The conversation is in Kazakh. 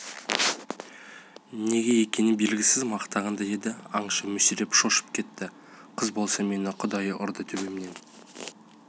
неге екені белгісіз мақтағандай еді аңшы мүсіреп шошып кетті қыз болса мені құдай ұрды төбемнен